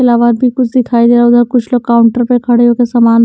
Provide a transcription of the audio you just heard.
भी कुछ दिखाई दे रहा हैं उधर कुछ लोग काउंटर पर खड़े होकर सामान--